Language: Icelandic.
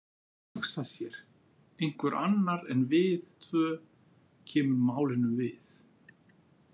Hugsa sér: einhver annar en við tvö kemur málinu við.